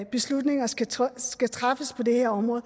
beslutninger skal træffes skal træffes på det her område